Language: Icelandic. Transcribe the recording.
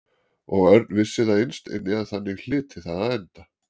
Og Örn vissi það innst inni að þannig hlyti það að enda.